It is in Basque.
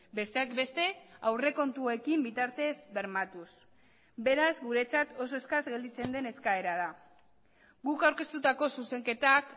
besteak beste aurrekontuekin bitartez bermatuz beraz guretzat oso eskas gelditzen den eskaera da guk aurkeztutako zuzenketak